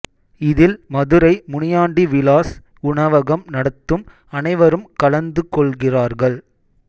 இதில் மதுரை முனியாண்டி விலாஸ் உணவகம் நடத்தும் அனைவரும் கலந்து கொள்கிறார்கள்